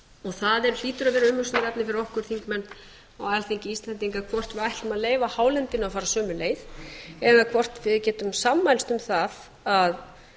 það hlýtur að vera umhugsunarefni fyrir okkur þingmenn á alþingi íslendinga hvort við ætlum að leyfa hálendinu að fara sömu leið eða hvort við getum sammælst um það að